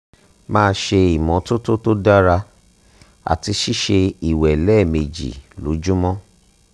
máa ṣe ìmọ́tótótó tó dára àti ṣíṣe ìwẹ̀ lẹ́ẹ̀mejì lójúmọ́